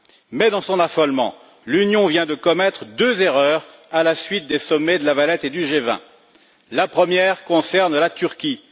Mais, dans son affolement, l'Union vient de commettre deux erreurs à la suite des sommets de La Valette et du G20. La première concerne la Turquie.